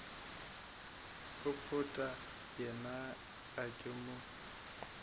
popota yena ga ke mo